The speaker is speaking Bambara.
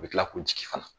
U bɛ tila k'u jigi fana